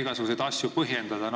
igasuguseid asju põhjendada.